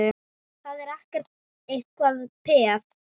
Það er ekki eitrað peð?